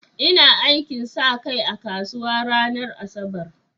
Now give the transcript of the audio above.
Ina aikin sa kai a kasuwa ranar Asabar.